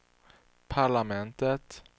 parlamentet